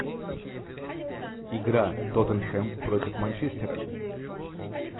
игра тоттенхэм против манчестера